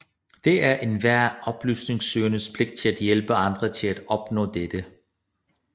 Det er enhver oplysningssøgendes pligt at hjælpe andre til at opnå dette